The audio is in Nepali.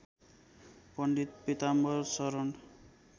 पण्डित पिताम्बर शरण